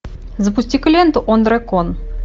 запусти ка ленту он дракон